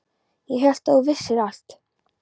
Ég hélt að þú vissir allt.